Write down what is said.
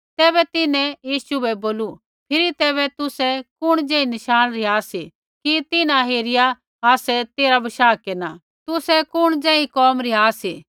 तैबै तिन्हैं यीशु बै बोलू फिरी तैबै तुसै कुण ज़ेही नशाण रिहा सी कि तिन्हां हेरिया आसै तेरा बशाह केरना तुसै कुण जेई कोम रिहा सी